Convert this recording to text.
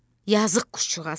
Yazıq quşcuğaz.